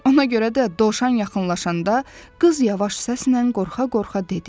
Ona görə də dovşan yaxınlaşanda qız yavaş səslə qorxa-qorxa dedi: